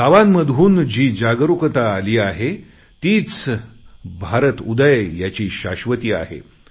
गावांमधून जी जागरुकता आली आहे तीच भारतउदय याची शाश्वती आहे